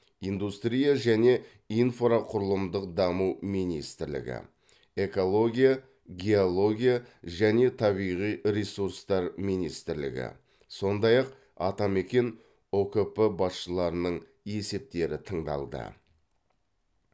индустрия және инфрақұрылымдық даму министрлігі экология геология және табиғи ресурстар министрлігі сондай ақ атамекен ұкп басшыларының есептері тыңдалды